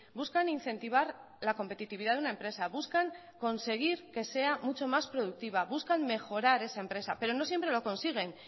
buscan incentivar la competitividad de una empresa buscan conseguir que sea mucho más productiva buscan mejorar esa empresa pero no siempre lo consiguen